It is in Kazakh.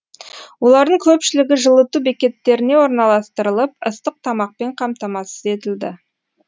олардың көпшілігі жылыту бекеттеріне орналастырылып ыстық тамақпен қамтамасыз етілді